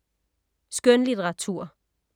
Skønlitteratur